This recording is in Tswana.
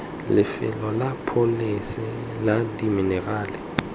lefelo la pholese la diminerala